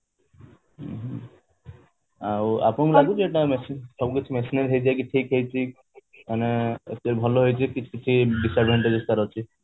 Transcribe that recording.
ଆଉ ଆପଣଙ୍କୁ ଲାଗୁଛି ଯେ ଏଇଟା ସବୁକିଛି machine ହେଇଯାଇକି ସବୁ କିଛି ଠିକ ହେଇଛି ମାନେ ଏତେ ଭଲ ହେଇକି ବି କିଛି କିଛି disadvantages ତାର ଅଛି